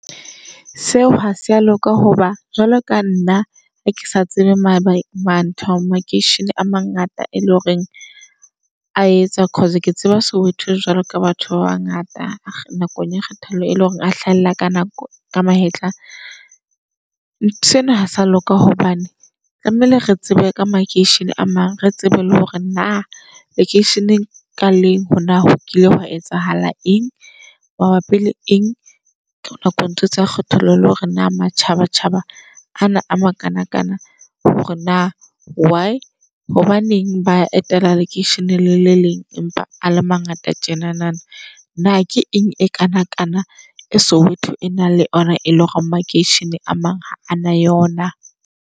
Seo ha se a loka hoba jwalo ka nna ke sa tsebe ma ma ntho makeishene a mangata e le horeng a etsa. - Cause ke tseba Soweto jwalo ka batho ba bangata nakong ya kgethollo, e leng hore a hlahella ka nako ka mahetla. Ntho ena ha sa loka hobane tlamehile re tsebe ka makeishene a mang re tsebe le hore na lekeisheneng ka leng hore na hokile hwa etsahala eng mabapi le eng. Ka nako ntho tsa kgethollo le hore na matjhaba tjhaba ana a makanakana hore na why hobaneng ba etela lekeisheneng le leng empa a le mangata tjenana. Ke eng e kana kana e Soweto e nang le ona e leng hore makeishene a mang ha ana yona.